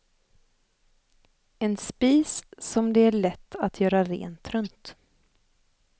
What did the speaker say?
En spis som det är lätt att göra rent runt.